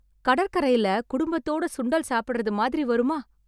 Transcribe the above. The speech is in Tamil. கடற்கரைல குடும்பத்தோட சுண்டல் சாப்பிடறது மாதிரி வருமா?!